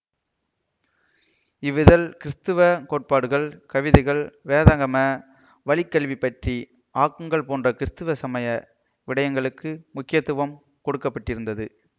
இவ்விதழில் கிறிஸ்தவ கோட்பாடுகள் கவிதைகள் வேதகம வழிக்கல்வி பற்றிய ஆக்கங்கள் போன்ற கிறிஸ்தவ சமய விடயங்களுக்கு முக்கியத்துவம் கொடுக்க பட்டிருந்தது